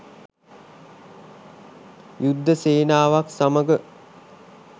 යුද්ධ සේනාවක් සමග